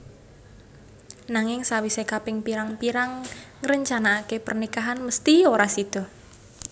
Nanging sawisé kaping pirang pirang ngrencanaké pernikahan mesthi ora sida